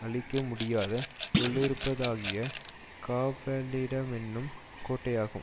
அழிக்க முடியாத உள்ளிருப்பதாகிய காவலிடமென்னும் கோட்டையாகும்